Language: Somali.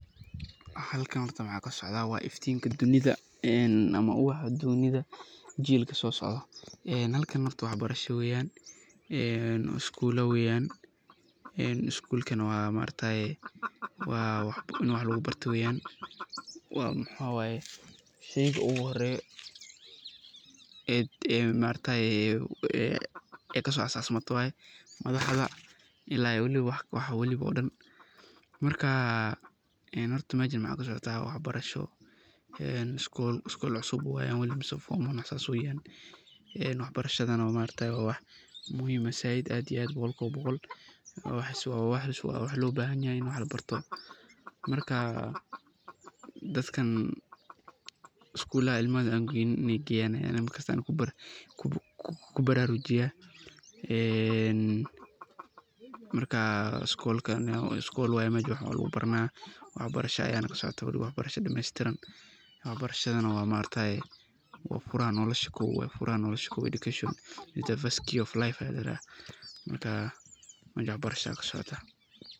Halkan hoorta waxa kasocdah wa iftinga dunitha amah u ah aduunyada jelka so socdoh, ee halkan horta waxbarsaho weeyan ee schoola weeyan ee iskoolkan ini wax lagu bartoh weeyan wa maxawaye xeer ugu horeeyo ee maaragtay kasocmato waye waxbo ila weli dibo oo dhan maarka horta meshan jimco waxbarsho ee iskool cusbu weli mise form one wax sas weeyan, ee waxbarashada maargtahay wa wax muhim aah iyo aad boqool iyo boqool waxasi wa wax lobahanyahy ini wax labartoh marka dadkan iskoolka, iskoolada ilmaha geynin wa Ina geeyan markasto kubararujiyan ee marka iskoolka, wa iskoolka mesha wax logu baran waxbarsaho Aya kasocotah, oo waxbarsho dameystiran waxbarashada wa maargtahay wa fuuraha noolsha kuwat wa education the first key of life marka mesha waxbarasha ayakasoctah.